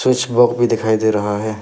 Switch box भी दिखाई दे रहा है।